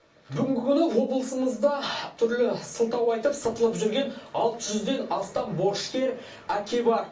бүгінгі күні облысымызда түрлі сылтау айтып сытылып жүрген алты жүзден астам борышкер әке бар